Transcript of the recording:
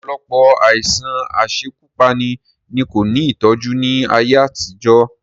Ọ̀pọ̀lọpọ̀ àìsàn asekúpani ni kò ní ìtọ́jú ni ayé àtijọ́